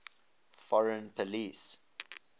foreign policy